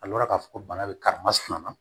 A rɔ k'a fɔ ko bana bɛ karimasina na